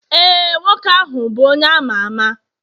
ee, nwoke ahụ bụ onye ama ama